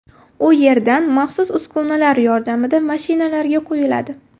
U yerdan maxsus uskunalar yordamida mashinalarga quyiladi.